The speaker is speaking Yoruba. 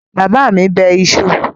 Bàbá mi bẹ iṣu?